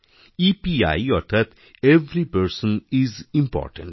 EPI অর্থাৎ every person is important